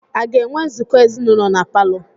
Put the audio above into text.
A ga-enwe nzukọ ezinụlọ na palọ?